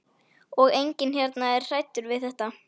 Og enginn hérna er hræddur við þetta.